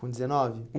Com dezenove?